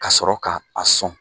Ka sɔrɔ k' a sɔn.